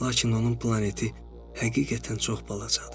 Lakin onun planeti həqiqətən çox balacadır.